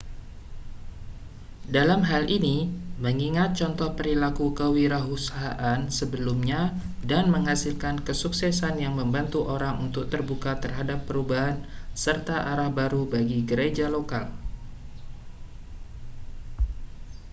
dalam hal ini mengingat contoh perilaku kewirausahaan sebelumnya dan menghasilkan kesuksesan yang membantu orang untuk terbuka terhadap perubahan serta arah baru bagi gereja lokal